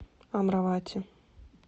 амравати